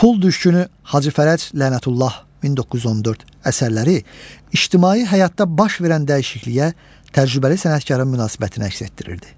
Pul düşkünü Hacı Fərəc Lənətullah 1914 əsərləri ictimai həyatda baş verən dəyişikliyə, təcrübəli sənətkarın münasibətini əks etdirirdi.